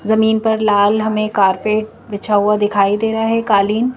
जमीन पर लाल हमें कारपेट बिछा हुआ दिखाई दे रहा है कालीन--